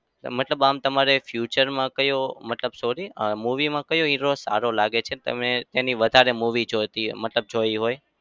મતલબ આમ તમારે future માં કયો મતલબ sorry અમ movie માં કયો hero સારો લાગે છે? તમે તેની વધારે movie જોતી મતલબ જોઈ હોય?